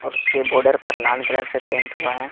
और उसके बॉर्डर पर लाल कलर से पेंट हुआ है।